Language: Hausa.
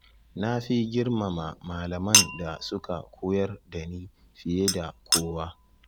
Na fi girmama malaman da suka koyar da ni fiye da kowa.